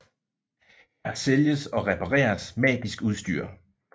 Her sælges og repareres magisk udstyr